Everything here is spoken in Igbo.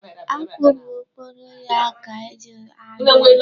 Akpụ bụ okporo ya ka eji adụ ya.